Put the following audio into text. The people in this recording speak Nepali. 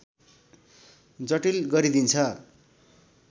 जटिल गरिदिन्छ